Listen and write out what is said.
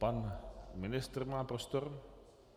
Pan ministr má prostor.